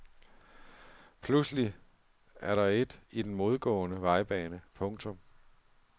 Pludselig er der et i den modgående vejbane. punktum